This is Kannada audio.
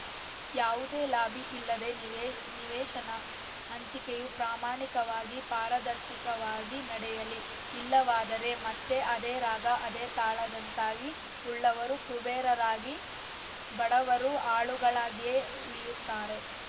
ಯಾವುದೇ ಲಾಭಿ ಇಲ್ಲದೆ ನಿವೇ ನಿವೇಶನ ಹಂಚಿಕೆಯು ಪ್ರಮಾಣಿಕವಾಗಿ ಪಾರದರ್ಶಕವಾಗಿ ನಡೆಯಲಿ ಇಲ್ಲವಾದರೆ ಮತ್ತೆ ಅದೇ ರಾಗ ಅದೇ ತಾಳದಂತಾಗಿ ಉಳ್ಳವರು ಕುಬೇರರಾಗಿ ಬಡವರು ಆಳುಗಳಾಗಿಯೇ ಉಳಿಯುತ್ತಾರೆ